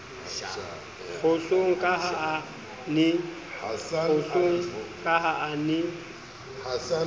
kgohlong ka ha a ne